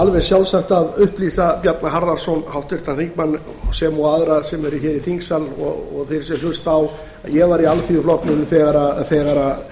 alveg sjálfsagt að upplýsa bjarna harðarson háttvirtan þingmann sem og aðra sem eru hér í þingsal og þá sem hlusta á að ég var í alþýðuflokknum þegar